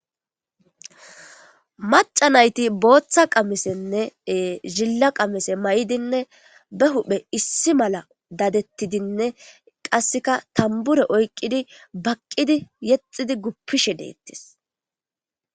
Mac'a nayti bota qamisenne zila qamise mayidinne be huphe issi mala dadetidinne qaseka tambure oyqidi baqidi yexishe gupishe detes.